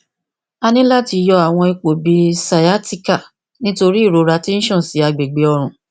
a ni lati yọ awọn ipo bi sciatica nitori irora ti n ṣan si agbegbe ọrùn